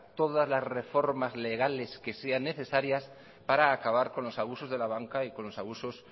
todas las reformas legales que sean necesarias para acabar con los abusos de la banca y con los abusos